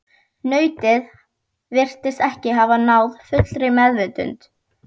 Nautið virtist ekki hafa náð fullri meðvitund.